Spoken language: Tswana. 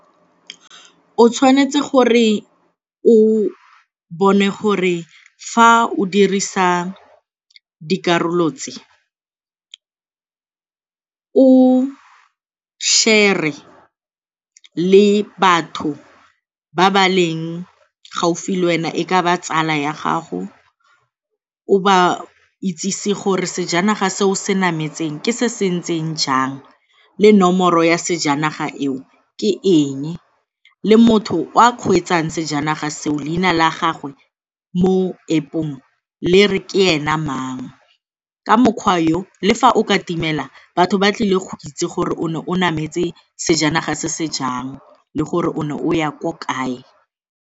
O tshwanetse gore o bone gore fa o dirisa dikarolo tse o share-re le batho ba ba leng gaufi le wena, e ka ba tsala ya gago o ba itsese gore sejanaga se o se nametseng ke se se ntseng jang, le nomoro ya sejanaga eo ke eng, le motho o a kgweetsang sejanaga seo leina la gagwe mo App-ong le re ke ena mang. Ka mokgwa yo, le fa o ka timela batho ba tlile go itse gore o ne o nametse sejanaga se se jang le gore o ne o ya ko kae.